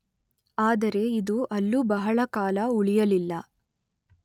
ಆದರೆ ಇದು ಅಲ್ಲೂ ಬಹಳಕಾಲ ಉಳಿಯಲಿಲ್ಲ.